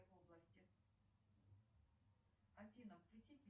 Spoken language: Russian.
название никосия на языке оригинала